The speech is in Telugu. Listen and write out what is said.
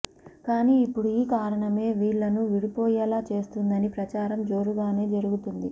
కానీ ఇప్పుడు ఈ కారణమే వీళ్లను విడిపోయేలా చేస్తుందని ప్రచారం జోరుగానే జరుగుతుంది